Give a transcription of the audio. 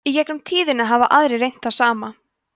í gegnum tíðina hafa aðrir reynt það sama